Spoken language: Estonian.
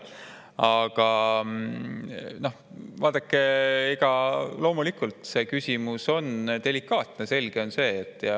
Aga vaadake, loomulikult, see küsimus on delikaatne, selge see.